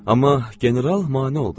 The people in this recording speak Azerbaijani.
Amma General mane oldu.